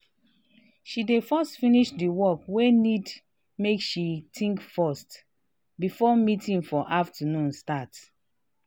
she dey first finish di work wey need make she think first before meeting for afternoon start.